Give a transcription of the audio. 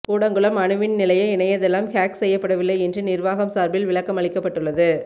கூடங்குளம் அணுமின் நிலைய இணையதளம் ஹேக் செய்யப்படவில்லை என்று நிர்வாகம் சார்பில் விளக்கம் அளிக்கப்பட்டுள்ளது